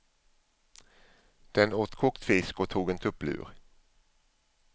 Den åt kokt fisk och tog en tupplur.